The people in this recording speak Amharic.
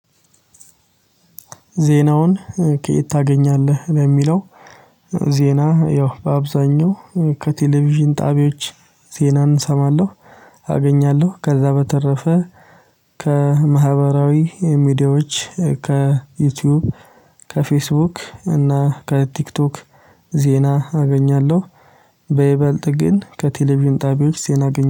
ዜናውን ከየት ታገኛለህ ነው የሚለው? ዜና ያው በአብዛኛው ከቴሌቪዥን ጣቢያዎች ዜናን እሰማለሁ አገኛለሁ። ከዛ በተረፈ ከማህበራዊ ሚዲያዎች ከዩቲዩብ ከፌስቡክ እና ከቲክቶክ ዜና አገኛለሁ። በይበልጥ ግን ከቴሌቪዥን ጣቢያዎች ዜና አገኘሁ